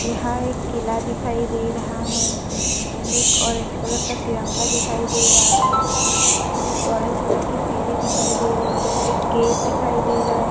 यहा एक किल्ला दिखाई दे रहा है। अँड एक ऑरेंज कलर का तिरंगा दिखाई दे रहा है। अँड एक ऑरेंज कलर की सीडी दिखाई दे रही है एक गेट दिखाई दे रहा है।